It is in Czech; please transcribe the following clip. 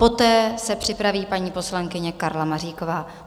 Poté se připraví paní poslankyně Karla Maříková.